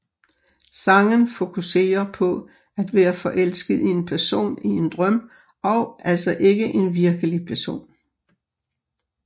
Sangen fokuserer på at være forelsket i en person i en drøm og altså ikke en virkelig person